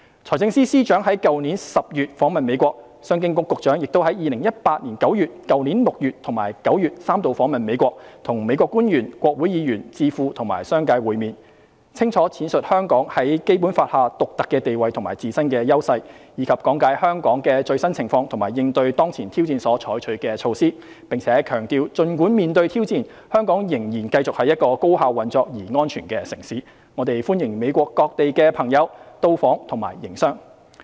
財政司司長於去年10月訪問美國，商務及經濟發展局局長亦於2018年9月、去年6月及9月三度訪問美國，與美國官員、國會議員、智庫和商界會面，清楚闡述香港在《基本法》下的獨特地位和自身的優勢，以及講解香港的最新情況及應對當前挑戰所採取的措施，並強調儘管面對挑戰，香港仍然繼續是一個高效運作而安全的城市，我們歡迎美國各地的朋友到訪及營商。